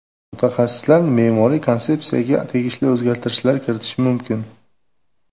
Mutaxassislar me’moriy konsepsiyaga tegishli o‘zgartirishlar kiritish mumkin.